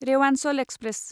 Rewanchal express